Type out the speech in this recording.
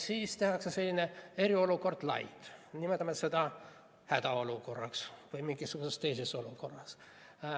Siis tehakse selline eriolukord light, nimetame seda hädaolukorraks või mingisuguseks teiseks olukorraks.